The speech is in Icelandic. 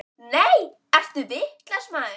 Nei, ertu vitlaus maður!